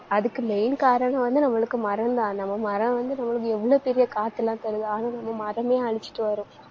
அதுக்கு main காரணம் வந்து நம்மளுக்கு மரம்தான். நம்ம மரம் வந்து நம்மளுக்கு எவ்வளவு பெரிய காற்றெல்லாம் தருது. ஆனா, நம்ம மரமே அழிச்சிட்டு வர்றோம்